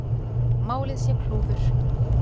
Málið sé klúður.